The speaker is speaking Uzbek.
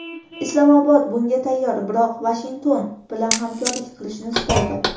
Islomobod bunga tayyor, biroq Vashington bilan hamkorlik qilishni istaydi”.